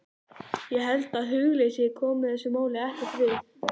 Ég held að hugleysi komi þessu máli ekkert við.